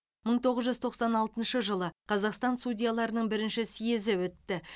мың тоғыз жүз тоқсан алтыншы жылы қазақстан судьяларының бірінші съезі өтті